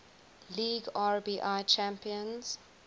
league rbi champions